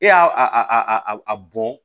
E y'a a bɔn